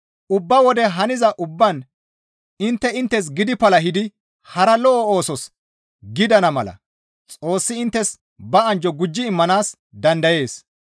Ubba wode haniza ubbaan intte inttes gidi palahidi hara lo7o oosos gidana mala Xoossi inttes ba anjjo gujji immanaas dandayees.